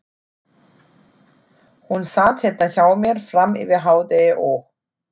Hún sat hérna hjá mér fram yfir hádegi og.